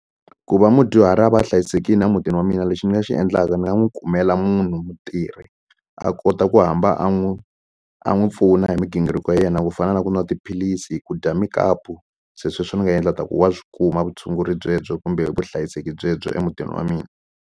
Ku va mudyuhari a va a hlayisekile emutini wa mina lexi ni nga xi endlaka ni nga n'wi kumela munhu mutirhi a kota ku hamba a n'wi a n'wi pfuna hi migingiriko ya yena ku fana na ku nwa tiphilisi hi ku dya mukapu se sweswo ni nga endla ta ku wa swi kuma vutshunguri byebyo kumbe vuhlayiseki byebyo emutini wa mina.